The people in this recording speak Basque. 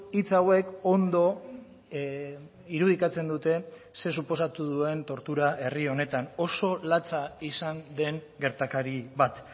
hitz hauek ondo irudikatzen dute zer suposatu duen tortura herri honetan oso latza izan den gertakari bat